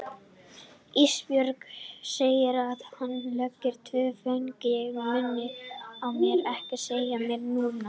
Ísbjörg, segir hann og leggur tvo fingur á munninn á mér, ekki segja meira núna.